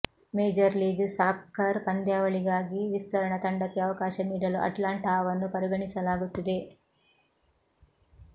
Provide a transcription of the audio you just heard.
major league soccer ಪಂದ್ಯಾವಳಿಗಾಗಿ ವಿಸ್ತರಣಾ ತಂಡಕ್ಕೆ ಅವಕಾಶ ನೀಡಲು ಅಟ್ಲಾಂಟಾವನ್ನು ಪರಿಗಣಿಸಲಾಗುತ್ತಿದೆ